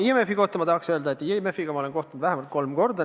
IMF-i kohta ma tahan öelda, et IMF-i inimestega ma olen kohtunud vähemalt kolm korda.